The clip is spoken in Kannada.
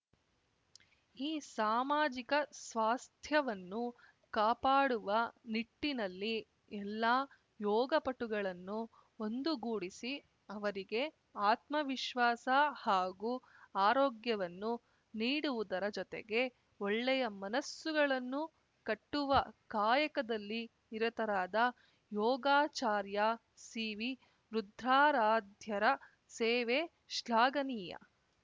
ಈ ಸಾಮಾಜಿಕ ಸ್ವಾಸ್ಥ್ಯವನ್ನು ಕಾಪಾಡುವ ನಿಟ್ಟಿನಲ್ಲಿ ಎಲ್ಲ ಯೋಗಪಟುಗಳನ್ನು ಒಂದುಗೂಡಿಸಿ ಅವರಿಗೆ ಆತ್ಮವಿಶ್ವಾಸ ಹಾಗೂ ಆರೋಗ್ಯವನ್ನು ನೀಡುವುದರ ಜೊತೆಗೆ ಒಳ್ಳೆಯ ಮನಸ್ಸುಗಳನ್ನು ಕಟ್ಟುವ ಕಾಯಕದಲ್ಲಿ ನಿರತರಾದ ಯೋಗಾಚಾರ್ಯ ಸಿವಿ ರುದ್ರಾರಾಧ್ಯರ ಸೇವೆ ಶ್ಲಾಘನೀಯ